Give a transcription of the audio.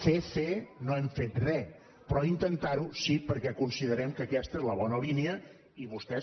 fer fer no hem fet re però intentar ho sí perquè considerem que aquesta és la bona línia i vostès